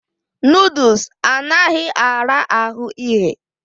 Nọdụs anaghị ara ahụ ighe.